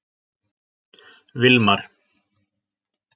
Vilmar